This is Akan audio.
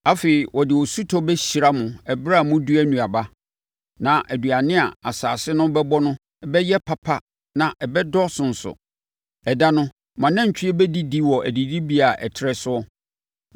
Afei, ɔde osutɔ bɛhyira mo ɛberɛ a modua nnuaba, na aduane a asase no bɛbɔ no bɛyɛ papa na ɛbɛdɔɔso nso. Ɛda no, mo anantwie bɛdidi wɔ adidibea a ɛtrɛ soɔ.